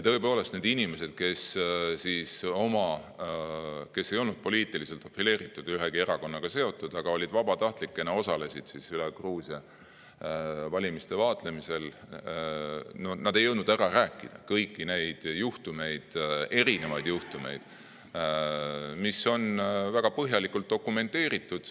Tõepoolest, need inimesed, kes ei olnud poliitiliselt profileeritud, ühegi erakonnaga seotud, aga vabatahtlikena osalesid üle Gruusia valimiste vaatlemisel – nad ei jõudnud ära rääkida kõiki neid erinevaid juhtumeid, mis on väga põhjalikult dokumenteeritud.